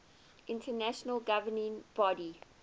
international governing body